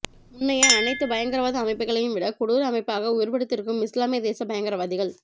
முன்னைய அனைத்துப் பயங்கரவாத அமைப்புக்களையும்விட கொடூர அமைப்பாக உருவெடுத்திருக்கும் இஸ்லாமியதேச பயங்கரவாதிகள்